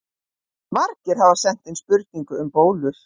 Margir hafa sent inn spurningu um bólur.